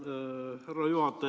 Härra juhataja!